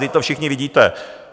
Vždyť to všichni vidíte!